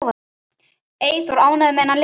Eyþór, ánægður með þennan lista?